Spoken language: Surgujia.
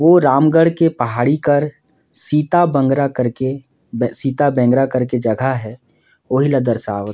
ओ रामगढ़ के पहाड़ी कर सीता बंद्रा कर के बे सीता बांद्रा कर के जगह हे ओहि ल दर्शावत--